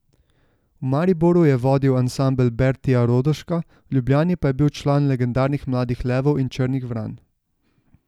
V Mariboru je vodil ansambel Bertija Rodoška, v Ljubljani pa je bil član legendarnih Mladih levov in Črnih vran.